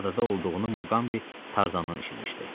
Adada olduğunu Muqambi Tarzanın eşitmişdi.